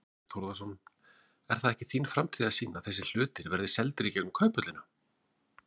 Þorbjörn Þórðarson: Er það ekki þín framtíðarsýn að þessi hlutir verði seldir í gegnum Kauphöllina?